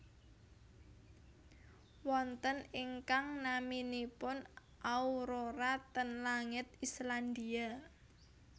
Wonten ingkang naminipun aurora ten langit Islandia